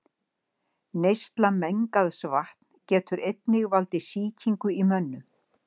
Neysla mengaðs vatns getur einnig valdið sýkingum í mönnum.